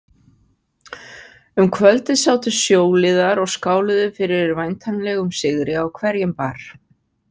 Um kvöldið sátu sjóliðar og skáluðu fyrir væntanlegum sigri á hverjum bar.